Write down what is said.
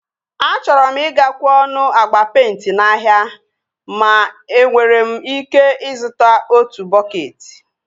Achọrọ m ị ga-kwe ọnụ agba peịnti n'ahịa ma enwere m ike ịzụta otu bọketị